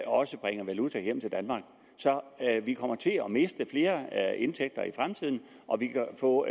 også bringer valuta hjem til danmark så vi kommer til at miste flere indtægter i fremtiden og vi kan få